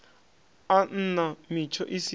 a nna mitsho i si